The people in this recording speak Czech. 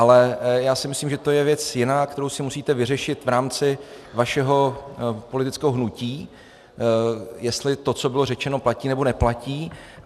Ale já si myslím, že to je věc jiná, kterou si musíte vyřešit v rámci vašeho politického hnutí, jestli to, co bylo řečeno, platí, nebo neplatí.